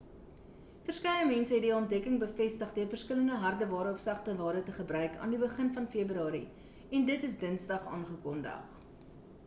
verskeie mense het die ontdekking bevestig deur verskillende hardeware of sagteware te gebruik aan die begin van februarie en dit is dinsdag aangekondig